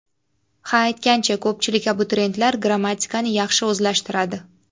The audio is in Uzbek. Ha, aytgancha, ko‘pchilik abituriyentlar grammatikani yaxshi o‘zlashtiradi.